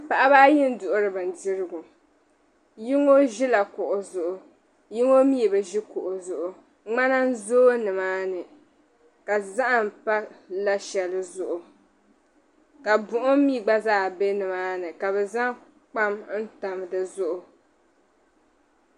Paɣiba ayi n-duɣiri bindirigu. Yino ʒila kuɣu zuɣu yino mi bi ʒi kuɣu zuɣu. Ŋmana n-zooi nimaani ka zahim pa la' shɛli zuɣu ka buɣim mi gba zaa be nimaani ka bɛ zaŋ kpaam n-tam di zuɣu.